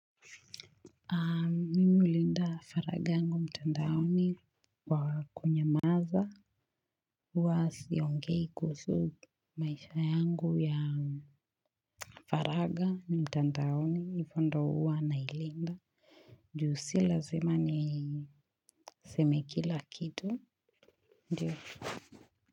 Mimi hulinda faraga yangu mtandaoni kwa kunyamaza. Huwa siongei kuhusu maisha yangu ya faraga ni mtandaoni ifo ndo huwa na ilinda. Juu si lazima ni seme kila kitu. Njuu.